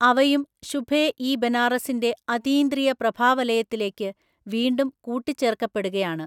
അവയും ശുഭെ ഇ ബനാറസിന്റെ അതീന്ദ്രിയ പ്രഭാവലയത്തിലേയ്ക്ക് വീണ്ടും കൂട്ടിചേർക്കപ്പെടുകയാണ്.